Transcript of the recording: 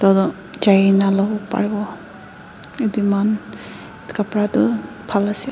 jai na luwo pariwo edey mahan khapra du phal ase.